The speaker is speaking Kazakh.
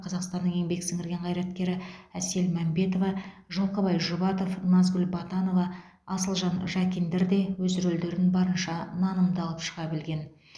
қазақстанның еңбек сіңірген қайраткері әсел мәмбетова жылқыбай жұбатов назгүл батанова асылжан жакиндер де өз рөлдерін барынша нанымды алып шыға білген